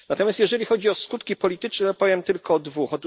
Natomiast jeżeli chodzi o skutki polityczne, powiem tylko o dwóch.